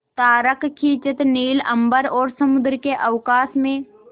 तारकखचित नील अंबर और समुद्र के अवकाश में